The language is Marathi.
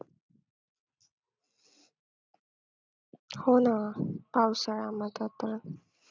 हो ना पावसाळ्यामध्ये तर